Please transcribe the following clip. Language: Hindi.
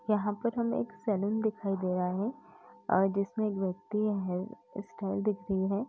यहाँ पर हमें एक सैलून दिखाई दे रहा है और जिसमें एक व्यक्ति है। सर दिख रही है।